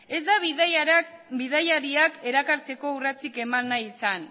ez da bidaiariak erakartzeko urratsik eman nahi izan